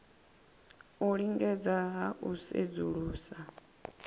u lingedza ha u sedzulusa